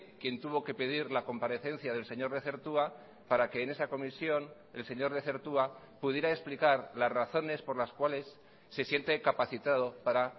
quien tuvo que pedir la comparecencia del señor lezertua para que en esa comisión el señor lezertua pudiera explicar las razones por las cuales se siente capacitado para